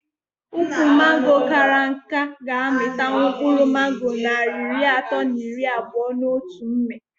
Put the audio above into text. Ukwu mango kara nká ga -amịtanwu mkpụrụ mango narị iri atọ na iri abụo n'otu mmị